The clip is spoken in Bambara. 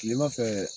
Kilema fɛ